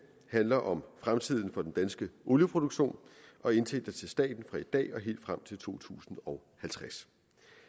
handler om fremtiden for den danske olieproduktion og indtægter til staten fra i dag og helt frem til to tusind og halvtreds